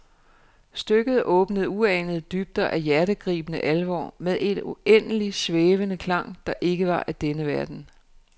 Stykket åbnede uanede dybder af hjertegribende alvor med en uendeligt svævende klang, der ikke var af denne verden.